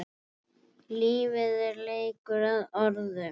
Lífið er leikur að orðum.